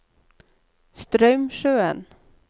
Straumsjøen